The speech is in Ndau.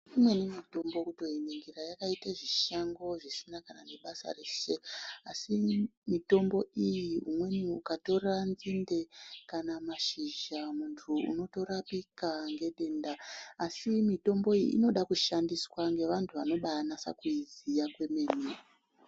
Imweni mitombo kutoiningira yakaite zvishango zvisina kana nebasa reshe, asi mitombo iyi umweni ukatora nzinde kana mashizha, muntu unotorapika ngedenda. Asi mitombo iyi inoda kushandiswa ngevantu vanobanasa kuiziya kwemene.